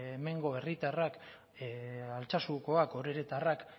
hemengo herritarrak altsasukoak oreretarrak